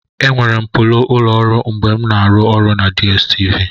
Enwere m polo ụlọ ọrụ mgbe m na-arụ ọrụ na DStv.